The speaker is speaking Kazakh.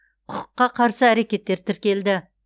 құқыққа қарсы әрекеттер тіркелді